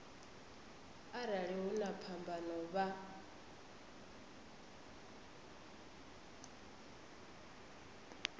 arali hu na phambano vha